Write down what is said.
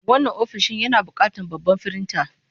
Wannan ofishin yana buƙatar babban firinta.